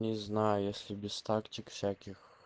не знаю если без тактик всяких